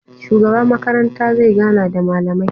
Shugaba makaranta zai gana da malamai